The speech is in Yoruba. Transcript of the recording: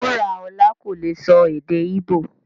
Wuraọla kò lè sọ èdè Ìbọ̀